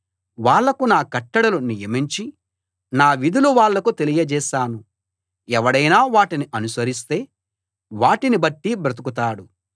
వాళ్లకు నా కట్టడలు నియమించి నా విధులు వాళ్లకు తెలియజేశాను ఎవడైనా వాటిని అనుసరిస్తే వాటిని బట్టి బ్రతుకుతాడు